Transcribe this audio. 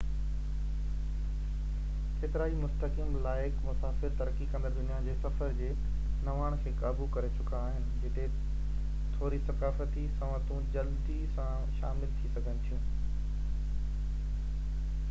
ڪيترائي مستحڪم لائق مسافر ترقي ڪندڙ دنيا جي سفر جي نواڻ کي قابو ڪري چڪا آهن جتي ٿوري ثقافتي سنوتون جلدي سان شامل ٿي سگهن ٿيون